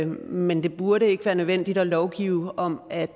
men det burde ikke være nødvendigt at lovgive om at